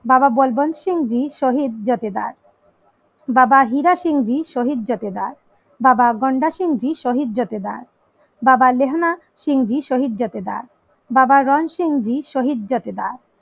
বাবা বলবন্দ সিং জী শহীদ জোঠেদার বাবা হীরা সিং জী শহীদ জোঠেদার বাবা গোন্ডা সিংজি শহীদ জোঠেদার বাবা মেহেনাথ সিং জী শহীদ জোঠেদার বাবা রামসিং জী শহীদ জোঠেদার